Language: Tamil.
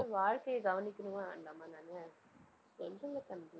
வாழ்க்கையை கவனிக்கணுமா வேண்டாமா நானு? சொல்லுங்க தம்பி